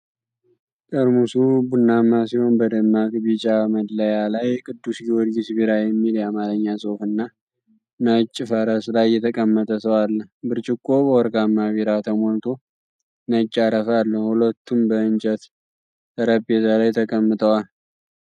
ጠርሙሱ ቡናማ ሲሆን በደማቅ ቢጫ መለያ ላይ "ቅዱስ ጊዮርጊስ ቢራ" የሚል የአማርኛ ጽሑፍና ነጭ ፈረስ ላይ የተቀመጠ ሰው አለ። ብርጭቆው በወርቃማ ቢራ ተሞልቶ ነጭ አረፋ አለው፤ ሁለቱም በእንጨት ጠረጴዛ ላይ ተቀምጠዋል።